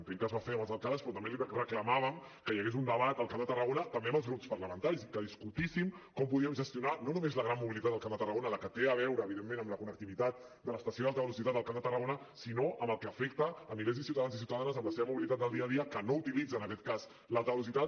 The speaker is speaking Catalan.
entenc que es va fer amb els alcaldes però també li reclamàvem que hi hagués un debat al camp de tarragona també amb els grups parlamentaris i que discutíssim com podíem gestionar no només la gran mobilitat al camp de tarragona la que té a veure evidentment amb la connectivitat de l’estació d’alta velocitat al camp de tarragona sinó amb el que afecta milers de ciutadans i ciutadanes en la seva mobilitat del dia a dia que no utilitzen en aquest cas l’alta velocitat